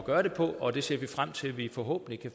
gøre det på og det ser vi frem til forhåbentlig